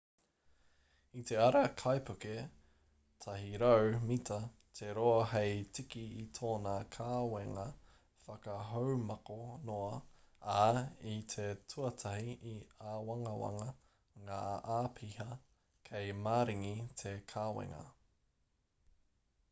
i te ara te kaipuke 100-mita te roa hei tiki i tōna kawenga whakahaumako noa ā i te tuatahi i āwangawanga ngā āpiha kei maringi te kawenga